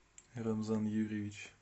рамзан юрьевич